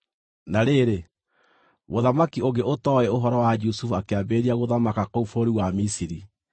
Na rĩrĩ, mũthamaki ũngĩ ũtooĩ ũhoro wa Jusufu akĩambĩrĩria gũthamaka kũu bũrũri wa Misiri.